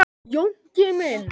Jónki minn.